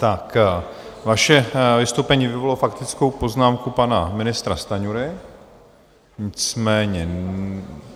Tak vaše vystoupení vyvolalo faktickou poznámku pana ministra Stanjury, nicméně...